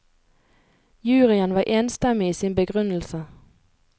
Juryen var enstemmig i sin begrunnelse.